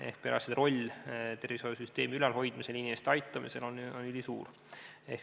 Ehk perearstide roll tervishoiusüsteemi ülalhoidmisel ja inimeste aitamisel on ülisuur.